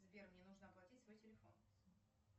сбер мне нужно оплатить свой телефон